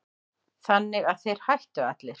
Þannig að þeir hættu allir.